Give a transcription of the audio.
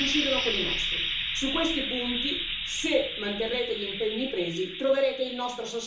Su questi punti, se manterrete gli impegni presi troverete il nostro sostegno, qui in Parlamento.